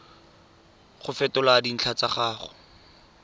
go fetola dintlha tsa gago